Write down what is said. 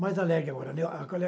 Mais alegre agora, né?